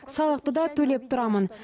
салықты да төлеп тұрамын